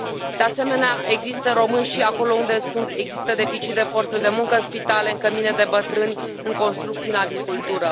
De asemenea, există români și acolo unde există deficit de forță de muncă, în spitale, în cămine de bătrâni, în construcții, în agricultură.